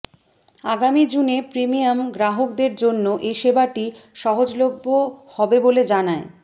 আগামী জুনে প্রিমিয়াম গ্রাহকদের জন্য এ সেবাটি সহজলভ্য হবে বলে জানায়